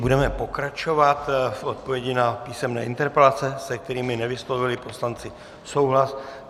Budeme pokračovat v odpovědích na písemné interpelace, se kterými nevyslovili poslanci souhlas.